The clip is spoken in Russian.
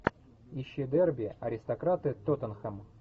ищи дерби аристократы тоттенхэм